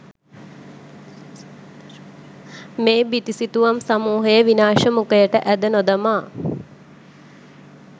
මේ බිතු සිතුවම් සමූහය විනාශ මුඛයට ඇද නොදමා